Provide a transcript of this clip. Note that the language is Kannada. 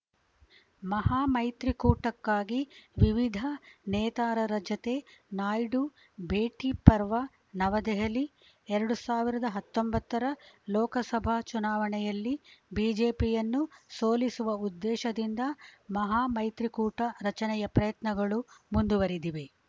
ಮಹಾಮೈತ್ರಿಕೂಟಕ್ಕಾಗಿ ವಿವಿಧ ನೇತಾರರ ಜತೆ ನಾಯ್ಡು ಭೇಟಿ ಪರ್ವ ನವದೆಹಲಿ ಎರಡು ಸಾವಿರದ ಹತ್ತೊಂಬತ್ತರ ಲೋಕಸಭಾ ಚುನಾವಣೆಯಲ್ಲಿ ಬಿಜೆಪಿಯನ್ನು ಸೋಲಿಸುವ ಉದ್ದೇಶದಿಂದ ಮಹಾ ಮೈತ್ರಿಕೂಟ ರಚನೆಯ ಪ್ರಯತ್ನಗಳು ಮುಂದುವರಿದಿವೆ